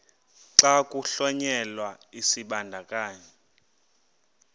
xa kuhlonyelwa isibandakanyi